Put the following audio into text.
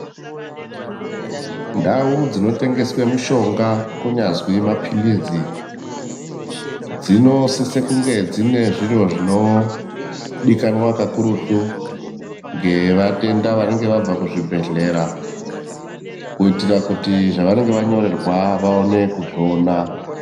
Ndau dzinotengeswe mishonga, kunyazwi maphilizi, dzinosise kunge dzine zviro zvinodikanwa kakurutu, ngevatenda vanenge vabva kuzvibhedhlera, kuitira kuti zvavanenge vanyorerwa vaone kuzviona.